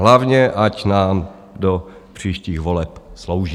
Hlavně ať nám do příštích voleb slouží.